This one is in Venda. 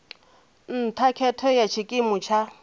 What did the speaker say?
nṱha khetho ya tshikimu tsha